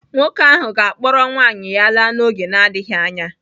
Nwoke ahụ ga-akpọrọ nwaanyị ya laa n’oge na-adịghị anya.